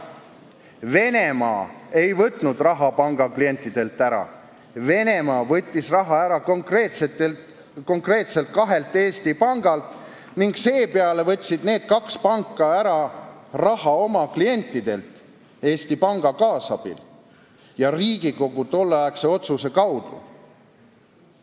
Venemaa ei võtnud raha panga klientidelt ära, Venemaa võttis raha ära konkreetselt kahelt pangalt ning seepeale võtsid need kaks panka ära raha oma klientidelt Eesti Panga kaasabil ja Riigikogu tolleaegse otsuse kaudu.